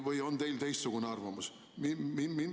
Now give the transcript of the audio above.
Või on teil teistsugune arvamus?